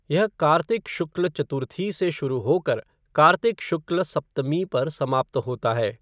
यह कार्तिक शुक्ल चतुर्थी से शुरू होकर कार्तिक शुक्ल सप्तमी पर समाप्त होता है।